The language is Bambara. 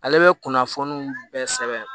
Ale bɛ kunnafoni bɛɛ sɛbɛn